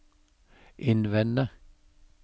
innvende